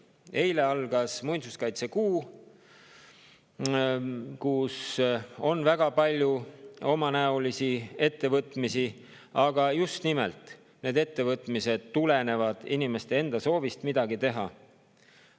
Eile algas muinsuskaitsekuu ja selle jooksul on väga palju omanäolisi ettevõtmisi, aga need ettevõtmised tulenevad just nimelt inimeste enda soovist midagi teha.